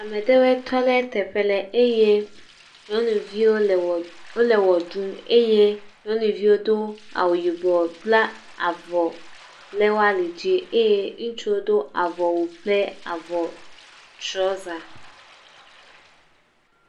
Ame ɖewɔe tɔ ɖe teƒe le eye nyɔnuviwo le wɔ, wole wɔ ɖum eye nyɔnuviwo do awu, yibɔ bla avɔ ɖe wo ali dzi, eye ŋutsu do avɔ kple trɔza.